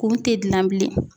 K'u tɛ gilan bilen